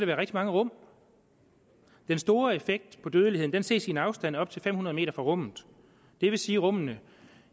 være rigtig mange rum den store effekt på dødeligheden ses i en afstand på op til fem hundrede m fra rummet det vil sige at rummene